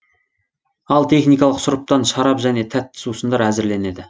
ал техникалық сұрыптан шарап және тәтті суысындар әзірленеді